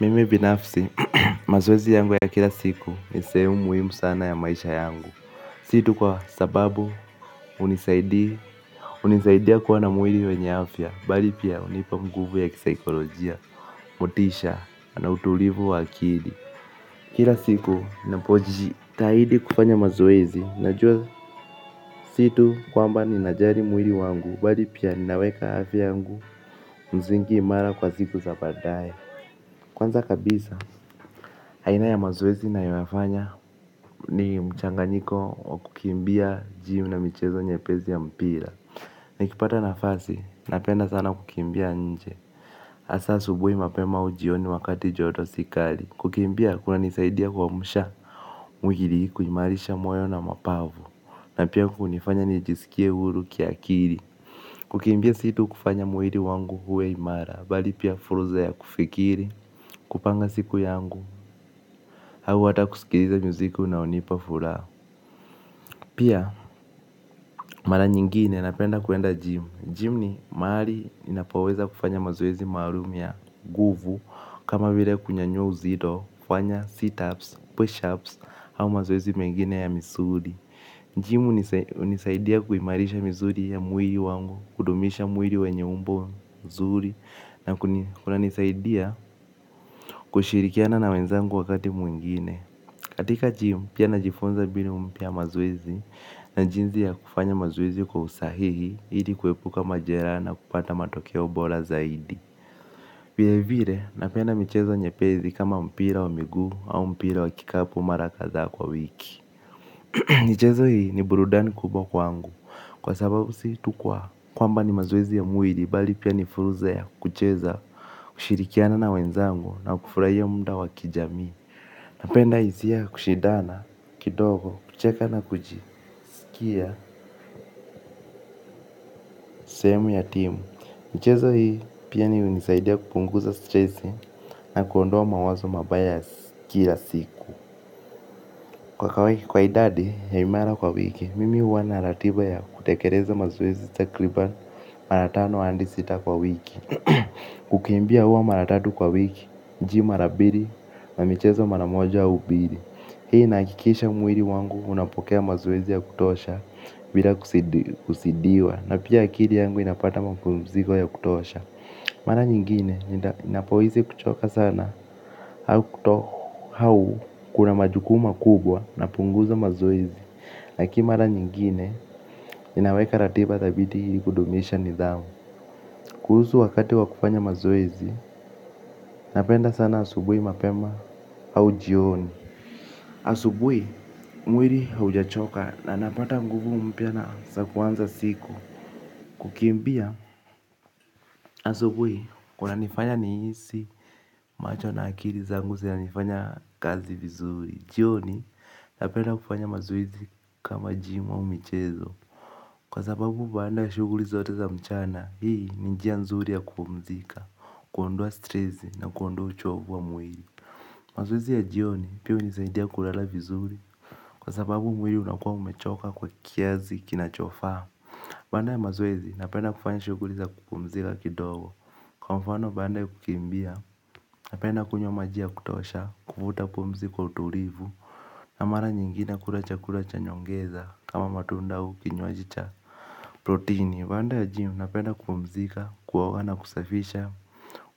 Mimi binafsi, mazoezi yangu ya kila siku ni sehemu muhimu sana ya maisha yangu. Si tu kwa sababu hunisaidia kuwa na mwili wenye afya bali pia hunipa nguvu ya kisaikolojia. Motisha na utulivu wa akili. Kila siku ninapojitahidi kufanya mazoezi najua si tu kwamba ninajali mwili wangu bali pia ninaweka afya yangu msingi imara kwa siku za baadae. Kwanza kabisa, aina ya mazoezi ninayoyafanya ni mchanganyiko wa kukimbia gym na michezo nyepesi ya mpira nikipata nafasi napenda sana kukimbia nje hasa asubuhi mapema au jioni wakati joto si kali kukimbia kunanisaidia kuamsha mwili kuimarisha moyo na mapafu na hunifanya nijisikie huru kiakili. Kukimbia si tu kufanya mwili wangu uwe imara bali pia fursa ya kufikiri, kupanga siku yangu au hata kusikiliza muziki unaonipa furaha. Pia mara nyingine napenda kuenda gym gym ni mahali ninapoweza kufanya mazoezi maalum ya nguvu kama vile kunyanyua uzito, kufanya situps, pushups au mazoezi mengine ya misuli gym hunisaidia kuimarishaa misuli ya mwili wangu kudumisha mwili wenye umbo nzuri na kunanisaidia kushirikiana na wenzangu wakati mwingine. Katika gym pia najifunza mbinu mpya ya mazoezi na jinsi ya kufanya mazoezi kwa usahihi ili kuepuka majeraha na kupata matokeo bora zaidi. Vile vile napenda michezo nyepesi kama mpira wa miguu au mpira wa kikapu mara kadhaa kwa wiki. Michezo hii ni burudani kubwa kwangu. Kwa sababu si tu kwa kwamba ni mazoezi ya mwili bali pia ni fursa ya kucheza kushirikiana na wenzango na kufurahia muda wa kijamii. Napenda hisia ya kushidana, kidogo, kucheka na kujisikia sehemu ya timu. Michezo hii pia ni hunisaidia kupunguza stressi na kuondoa mawazo mabaya kila siku. Kwa kwa idadi ya imara kwa wiki, mimi huwa na ratiba ya kutekeleza mazoezi takriban mara tano hadi sita kwa wiki. Kukimbia huwa maratatu kwa wiki, gym mara mbili na michezo maramoja au mbili. Hii inahakikisha mwili wangu unapokea mazoezi ya kutosha bila kuzidiwa na pia akili yangu inapata mapumziko ya kutosha mara nyingine ninapohisi kuchoka sana au kuna majukumu makubwa napunguza mazoezi lakinii mara nyingine ninaweka ratiba dhabiti ili kudumisha nidhamu. Kuhusu wakati wa kufanya mazoezi napenda sana asubuhi mapema au jioni. Asubuhi mwili haujachoka na napata nguvu mpya na za kuanza siku. Kukimbia asubuhi kunanifanya nihisi macho na akili zangu zina nifanya kazi vizuri. Jioni na penda kufanya mazoezi kama gym au michezo. Kwa sababu baada ya shughuli zote za mchana hii ni njia nzuri ya kupumzika kuondoa stresi na kuondoa uchovu wa mwili mazoezi ya jioni pia hunisaidia kulala vizuri kwa sababu mwili unakuwa umechoka kwa kiasi kinachofaa. Baada ya mazoezi napenda kufanya shughuli za kupumzika kidogo. Kwa mfano baada ya kukimbia napenda kunywa maji ya kutosha. Kuvuta pumzi kwa utulivu na mara nyingine kula chakula cha nyongeza kama matunda au kinywaji cha protini baada ya gym napenda kupumzika kuoga na kusafisha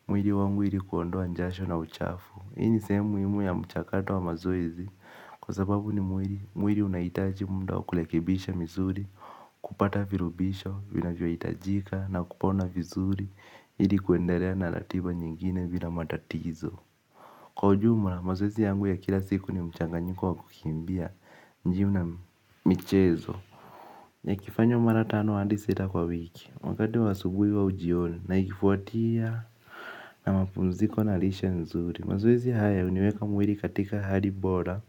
mwili wangu ili kuondoa jasho na uchafu hii ni sehemu muhimu ya mchakato wa mazoezi. Kwa sababu ni mwili, mwili unahitaji muda wa kurekebisha misuri. Kupata virubisho, vinavyohitajika na kupona vizuri ili kuendelea na ratiba nyingine bila matatizo. Kwa ujumla, mazoezi yangu ya kila siku ni mchanganyiko wa kukimbia gym na michezo. Yakifanywa mara tano hadi sita kwa wiki wakati wa asubuhi au jioni na ikifuatia na mapumziko na lishe nzuri. Mazoezi haya huniweka mwili katika hali bora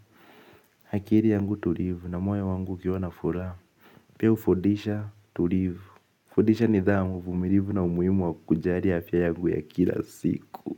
akili yangu tulivu na moyo wangu ukiwa na furaha. Pia hufundisha tulivu hufundisha nidhamu uvumilivu na umuhimu wa kujali afya yangu ya kila siku.